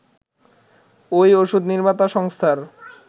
ওই ওষুধ নির্মাতা সংস্থার